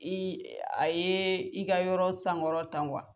I a ye i ka yɔrɔ sankɔrɔta